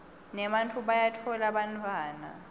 nebantfu bayabatfola bantfwana